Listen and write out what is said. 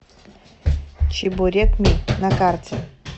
чебурекми на карте